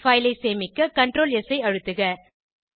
file ஐ சேமிக்க Ctrl S ஐ அழுத்துக